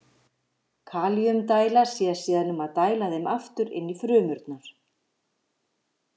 Kalíumdæla sér síðan um að dæla þeim aftur inn í frumurnar.